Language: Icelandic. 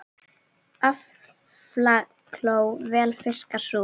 Aflakló vel fiskar sú.